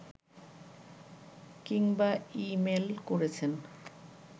কিংবা ই-মেইল করেছেন